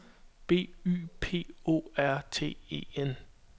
B Y P O R T E N